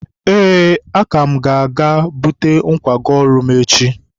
ee, aka m ga-eje bute nkwago ọrụ m echi.